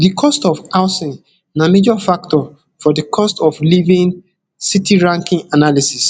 di cost of housing na major factor for di cost of living city ranking analysis